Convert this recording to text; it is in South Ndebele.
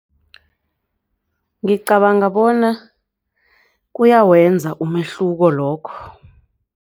Ngicabanga bona kuyawenza umehluko lokho.